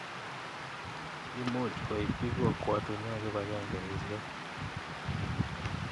Imuch koitchi kokwatinwek kipakengeisyek